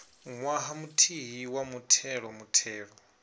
ṅwaha muthihi wa muthelo muthelo